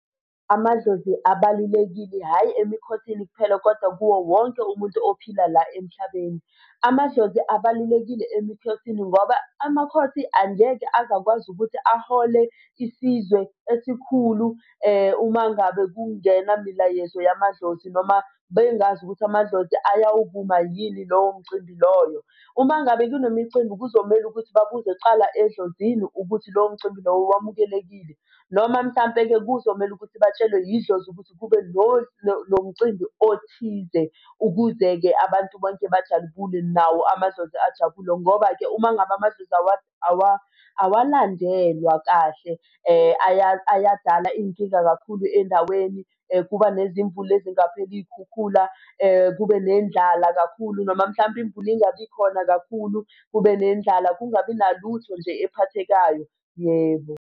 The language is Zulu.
Amadlozi abalulekile, hhayi emikhosini kuphela, kodwa kuwo wonke umuntu ophila la emhlabeni. Amadlozi abalulekile emikhosini ngoba amakhosi angeke aze akakwazi ukuthi ahole isizwe esikhulu uma ngabe kungenamilayezo yamadlozi noma bengazi ukuthi amadlozi ayawuvuma yini lowo mcimbi loyo. Uma ngabe kunemicimbi, kuzomele ukuthi babuze kqala edlozini ukuthi lowo mcimbi lowo wamukelekile. Noma mhlampe-ke kuzomele ukuthi batshelwe yidlozi ukuthi kube nomcimbi othize kuze-ke abantu bonke bajabule nawo amadlozi ajabule. Ngoba-ke uma ngabe amadlozi awalandelwa kahle ayadala iy'nkinga kakhulu endaweni kuba nezimvula ezingapheli, iy'khukhula, kube nendlala kakhulu noma mhlampe imvula ingabikhona kakhulu, kube nendlala, kungabi nalutho nje ephathekayo. Yebo.